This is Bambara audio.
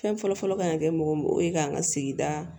Fɛn fɔlɔfɔlɔ kan ŋa kɛ mɔgɔ mun o ye k'an ka sigida